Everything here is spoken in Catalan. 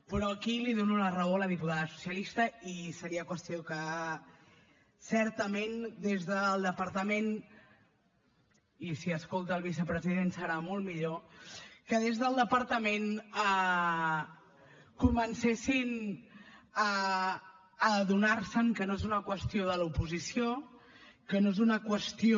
però aquí li dono la raó a la diputada socialista i seria qüestió que certament des del departament i si escolta el vicepresident serà molt millor comencessin a adonar se que no és una qüestió de l’oposició que no és una qüestió